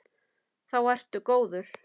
Þá ertu góður.